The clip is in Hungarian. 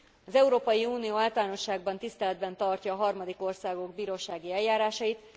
Az Európai Unió általánosságban tiszteletben tartja a harmadik országok bírósági eljárásait.